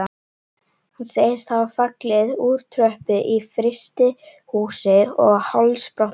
Hann segist hafa fallið úr tröppu í frystihúsi og hálsbrotnað.